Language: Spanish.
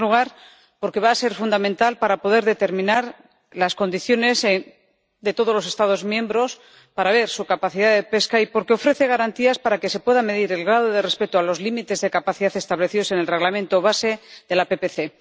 En primer lugar, porque va a ser fundamental para poder determinar las condiciones de todos los Estados miembros para ver su capacidad de pesca y porque ofrece garantías para que se pueda medir el grado de respeto de los límites de capacidad establecidos en el Reglamento de base de la PPC.